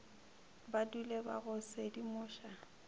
ba dule ba go sedimoša